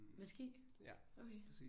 Med ski? Okay